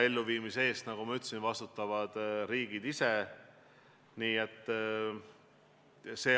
Elluviimise eest, nagu ma ütlesin, vastutavad riigid ise.